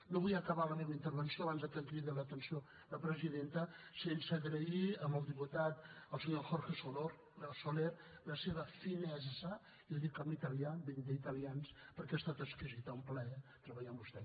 no vull acabar la meva intervenció abans que em cridi l’atenció la presidenta sense agrair al diputat al senyor jorge soler la seva finezza i ho dic en italià vinc d’italians perquè ha estat exquisida un plaer treballar amb vostè